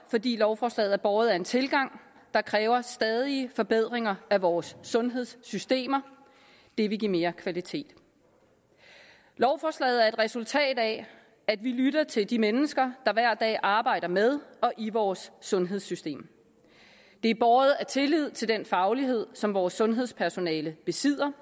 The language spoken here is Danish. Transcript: fordi lovforslaget er båret af en tilgang der kræver stadige forbedringer af vores sundhedssystemer det vil give mere kvalitet lovforslaget er et resultat af at vi lytter til de mennesker der hver dag arbejder med og i vores sundhedssystem det er båret af tillid til den faglighed som vores sundhedspersonale besidder